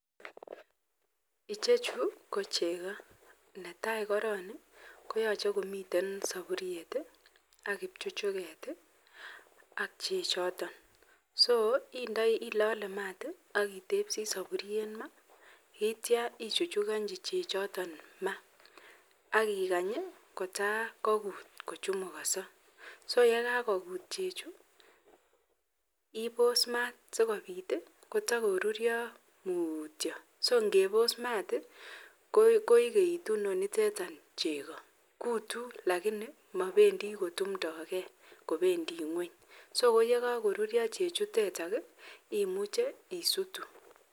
Ichechu ko cheko netai koron koyaache komiten saburiet akibchuchuket AK chechoton AK koyache ilal mat akitebsi saburiet mat ita ichuchuganji chechoton mat akikany kotakokut anan kochumukoso AK yekakokut chechuto ibos mat akositakorutio mutyo ako ngebos mat koigeitu Inoniton cheko gutu lakini mabendi kutumdogei kobendi ngweny ako nekakorurio chuton imuche isutu